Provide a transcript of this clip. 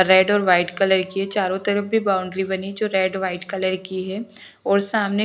red और white colour की है चारों तरफ भी बाउंड्री बनी जो रेड व्हाइट कलर की है और सामने--